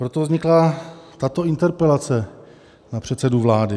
Proto vznikla tato interpelace na předsedu vlády.